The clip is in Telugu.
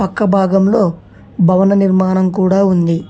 పక్క భాగంలో భవన నిర్మాణం కూడా ఉంది.